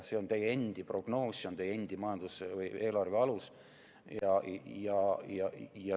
See on teie endi prognoos, see on teie endi eelarve alus.